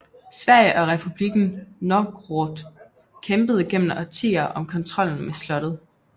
Sverige og Republikken Novgorod kæmpede gennem årtier om kontrollen med slottet